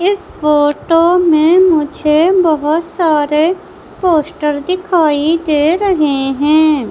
इस फोटो में मुझे बहोत सारे पोस्टर दिखाई दे रहे हैं।